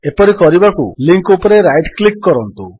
ଏପରି କରିବାକୁ ଲିଙ୍କ୍ ଉପରେ ରାଇଟ୍ କ୍ଲିକ୍ କରନ୍ତୁ